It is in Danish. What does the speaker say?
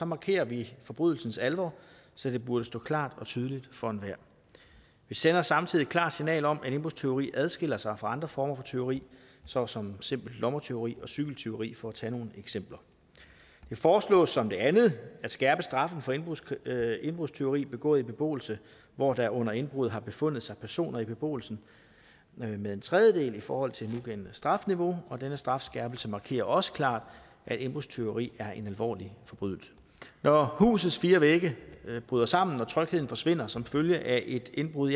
markerer vi forbrydelsens alvor så det burde stå klart og tydeligt for enhver vi sender samtidig et klart signal om at indbrudstyveri adskiller sig fra andre former for tyveri såsom simpelt lommetyveri og cykeltyveri for at tage nogle eksempler det foreslås som det andet at skærpe straffen for indbrudstyveri indbrudstyveri begået i beboelse hvor der under indbruddet har befundet sig personer i beboelsen med en tredjedel i forhold til det nugældende strafniveau og denne strafskærpelse markerer også klart at indbrudstyveri er en alvorlig forbrydelse når husets fire vægge bryder sammen og trygheden forsvinder som følge af et indbrud